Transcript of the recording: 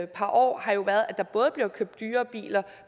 par år har jo været at der både bliver købt dyre biler